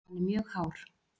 Hann er mjög hár.